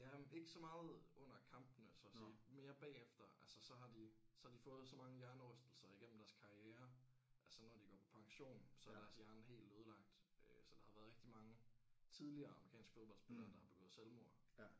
Jamen ikke så meget under kampene så at sige mere bagefter altså så har de så har de fået så mange hjernerystelser igennem deres karriere at så når de går på pension så er deres hjerne helt ødelagt øh så der har været rigtig mange tidligere amerikansk fodboldspillere der har begået selvmord